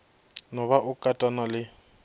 no ba o katana le